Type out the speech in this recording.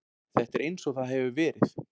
Þetta er eins og það hefur verið.